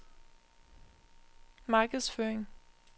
markedsføring